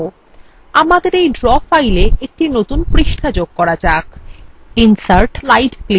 আমাদের এই draw file একটি নতুন পৃষ্ঠা যোগ করা যাক insert slide a ক্লিক করুন